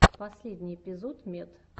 последний эпизод мед